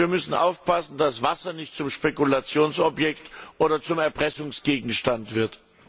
Wir müssen aufpassen, das Wasser nicht zum Spekulationsobjekt oder zum Erpressungsgegenstand wird.